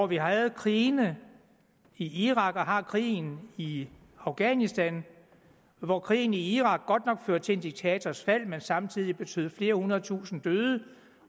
vi havde krigen i irak og har krigen i afghanistan hvor krigen i irak godt nok førte til en diktators fald men samtidig betød at flere hundredtusinde døde